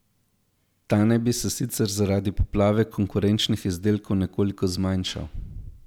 Ta naj bi se sicer zaradi poplave konkurenčnih izdelkov nekoliko zmanjšal.